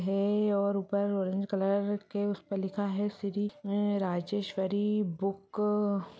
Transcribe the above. हैं और ऊपर ओरेंज कलर के उसमे लिखा है श्री राजेश्वरी बुक --